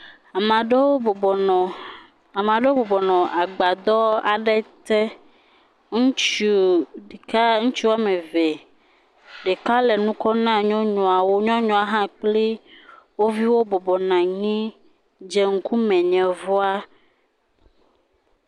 Ame aɖewo bɔbɔnɔ agbadɔ aɖe te, ŋutsu ɖeka ŋutsu woame eve, ɖeka le nu kɔm na nyɔnuawo, nyɔnua hã kple wo viwo bɔbɔnɔ anyi dze ŋkume yevua.